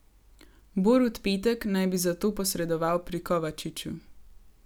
Borut Petek naj bi zato posredoval pri Kovačiču.